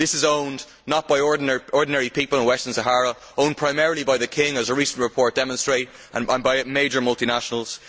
This is owned not by ordinary people in Western Sahara but primarily by the King as a recent report demonstrates and by major multinationals.